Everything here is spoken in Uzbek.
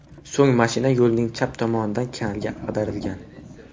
So‘ng mashina yo‘lning chap tomonidagi kanalga ag‘darilgan.